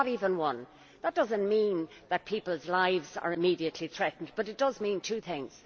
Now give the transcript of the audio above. Not even one. That does not mean that people's lives are immediately threatened, but it does mean two things.